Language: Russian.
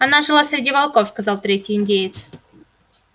она жила среди волков сказал третий индеец